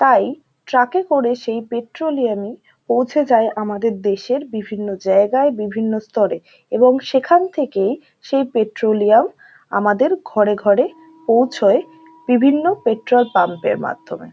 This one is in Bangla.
তাই ট্রাক এ করে সেই পেট্রোলিয়াম ই পৌঁছে যায় আমাদের দেশের বিভিন্ন জায়গায় বিভিন্ন স্থরে । এবং সেখান থেকেই সেই পেট্রোলিয়াম আমাদের ঘরে ঘরে পৌঁছোয় বিভিন্ন পেট্রোলপাম্প এর মাধ্যমে ।